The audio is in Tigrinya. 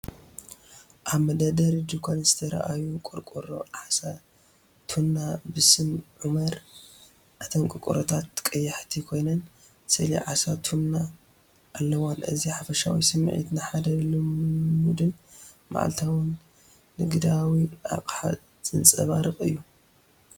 ኣብ መደርደሪ ድኳን ዝተርኣዩ ቆርቆሮ ዓሳ ቱና ብስም ዑማር። እተን ቆርቆሮታት ቀያሕቲ ኮይነን ስእሊ ዓሳ ቱና ኣለወን። እዚ ሓፈሻዊ ስምዒት ንሓደ ልሙድን መዓልታዊን ንግዳዊ ኣቕሓ ዘንጸባርቕ እዩ።